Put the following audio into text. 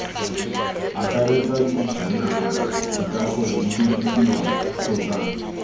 akaretsa dijanaga dikago didirisiwa kgotsa